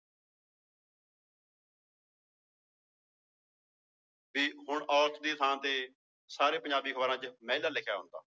ਵੀ ਹੁਣ ਔਰਤ ਦੀ ਥਾਂ ਤੇ ਸਾਰੇ ਪੰਜਾਬੀ ਅਖ਼ਬਾਰਾਂ ਚ ਮਹਿਲਾ ਲਿਖਿਆ ਹੁੰਦਾ।